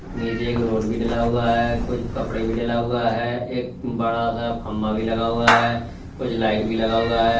नीचे एक रोड भी डला हुआ है कुछ कपड़े भी डला हुआ है एक बड़ा सा खम्मा भी लगा हुआ है कुछ लाइट भी लगा हुआ है।